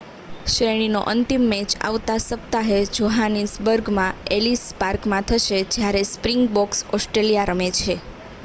શ્રેણીનો અંતિમ મેચ આવતા સપ્તાહે જોહાનીસબર્ગમાં એલીસ પાર્કમાં થશે જ્યારે સ્પ્રિંગબોક્સ ઓસ્ટ્રેલીયા રમે છે